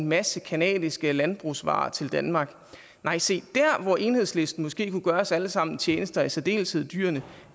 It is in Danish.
en masse canadiske landbrugsvarer til danmark nej se dér hvor enhedslisten måske kunne gøre os alle sammen en tjeneste og i særdeleshed dyrene